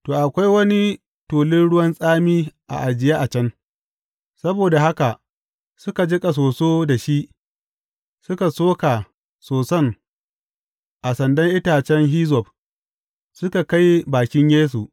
To, akwai wani tulun ruwan tsami ajiye a can, saboda haka suka jiƙa soso da shi, suka soka soson a sandan itacen hizzob, suka kai bakin Yesu.